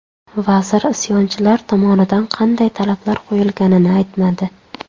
Vazir isyonchilar tomonidan qanday talablar qo‘yilganini aytmadi.